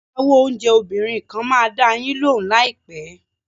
Agbáwo oúnjẹ obìnrin kan máa dá a yín lóhùn láìpẹ́.